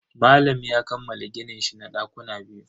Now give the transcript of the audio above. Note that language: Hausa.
Malam ya kammala gininshi na dakuna biyu.